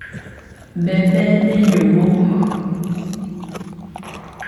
Mbembe nĩnyũmũ.